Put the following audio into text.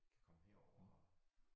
Kan komme herover og